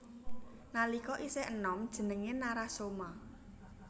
Nalika isih enom jenengé Narasoma